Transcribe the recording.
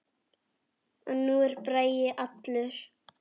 Og nú er Bragi allur.